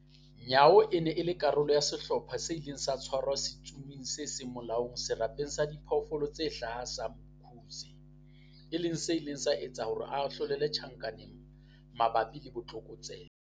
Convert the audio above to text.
Nyawo e ne e le karolo ya sehlopha se ileng sa tshwara setsomi se seng molaong Serapeng sa Diphoofolo tse Hlaha sa Umkhuze, e leng se ileng sa etsa hore se ahlolelwe tjhankaneng mabapi le botlokotsebe.